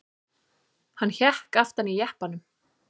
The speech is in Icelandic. Hann hékk aftan í jeppanum.